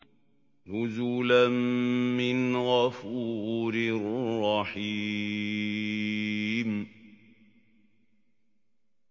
نُزُلًا مِّنْ غَفُورٍ رَّحِيمٍ